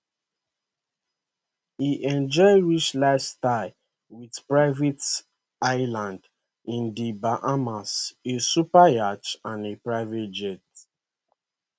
e enjoy rich lifestyle with private island in di bahamas a superyacht and a private jet